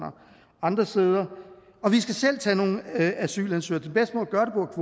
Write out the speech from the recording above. andre steder og vi skal selv tage nogle asylansøgere